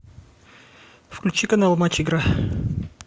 включи канал матч игра